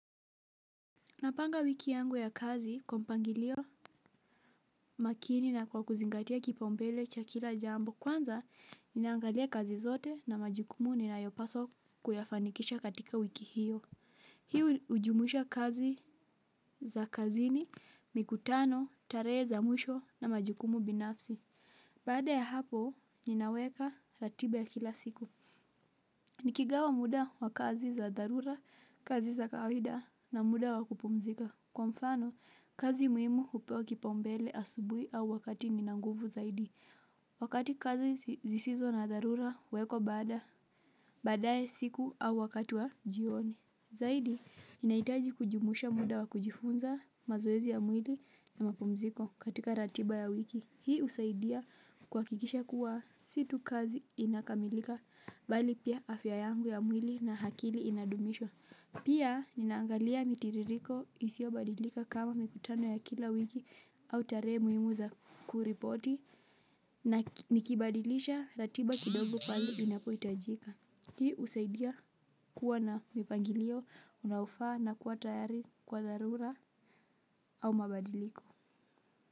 Napanga wiki yangu ya kazi, kwa mpangilio makini na kwa kuzingatia kipaombele cha kila jambo. Kwanza, naangalia kazi zote na majukumu ninayopaso kuyafanikisha katika wiki hiyo. Hii ujumusha kazi za kazini, mikutano, tare za muisho na majukumu binafsi. Bada ya hapo, ninaweka ratiba ya kila siku. Nikigawa muda wa kazi za darura, kazi za kaawaida na muda wa kupumzika. Kwa mfano, kazi muimu upewa kipaombele asubui au wakati nina nguvu zaidi. Wakati kazi zisizo na darura wekwa bada, badae siku au wakati wa jioni. Zaidi, inaitaji kujumuisha muda wa kujifunza mazoezi ya mwili na mapumziko katika ratiba ya wiki. Hii usaidia kwakikisha kuwa situ kazi inakamilika, bali pia afya yangu ya mwili na hakili inadumishwa. Pia nina angalia mitiririko isiobadilika kama mikutano ya kila wiki au tare muimu za kuripoti na nikibadilisha ratiba kidogo pali inapoyitajika. Hii usaidia kuwa na mipangilio unaofa na kuwa tayari kwa darura au mabadiliko.